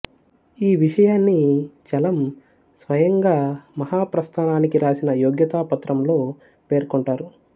ఈ విషయాన్ని చలం స్వయంగా మహాప్రస్థానానికి రాసిన యోగ్యతా పత్రంలో పేర్కొంటారు